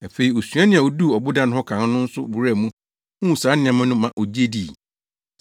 Afei osuani a oduu ɔboda no ho kan no nso wuraa mu huu saa nneɛma no ma ogye dii.